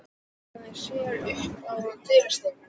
Hún hallaði sér upp að dyrastafnum.